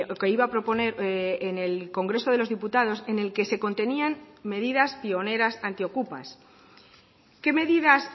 que iba a proponer en el congreso de los diputados en el que se contenían medidas pioneras antiokupas qué medidas